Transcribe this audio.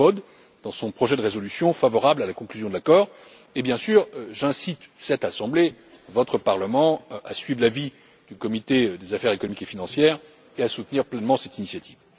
M. Kofod, dans son projet de résolution favorable à la conclusion de l'accord et bien sûr, j'incite cette assemblée, votre Parlement, à suivre l'avis de la commission des affaires économiques et financières et à soutenir pleinement cette initiative.